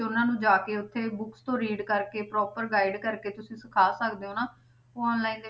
ਉਹਨਾਂ ਨੂੰ ਜਾ ਕੇ ਉੱਥੇ books ਤੋਂ read ਕਰਕੇ proper guide ਕਰਕੇ ਤੁਸੀਂ ਸਿੱਖਾ ਸਕਦੇ ਹੋ ਨਾ online ਦੇ